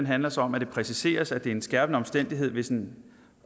handler så om at det præciseres at det er en skærpende omstændighed hvis den